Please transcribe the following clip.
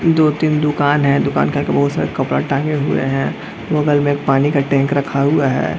दो-तीन दुकान हैं दुकान के आगे बहुत सारे काफी कपड़े टांगे हुए हैं और बगल में पानी का टैंक रखा हुआ है।